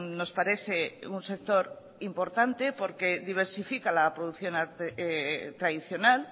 nos parece un sector importante porque diversifica la producción tradicional